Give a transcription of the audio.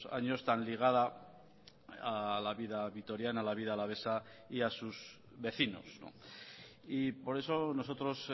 años tan ligada a la vida vitoriana a la vida alavesa y a sus vecinos y por eso nosotros